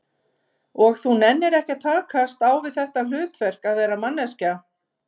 Og þú nennir ekki að takast á við þitt hlutverk, að vera manneskja?